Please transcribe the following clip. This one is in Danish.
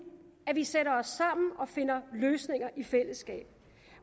at vi sætter os sammen og finder løsninger i fællesskab